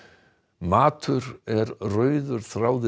matur er rauður þráður